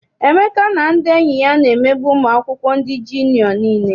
Emeka na ndị enyi ya na-emegbu ụmụ akwụkwọ ndị jiniọ nile.